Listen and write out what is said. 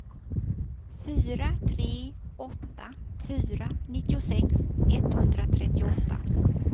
fyra tre åtta fyra nittiosex etthundratrettioåtta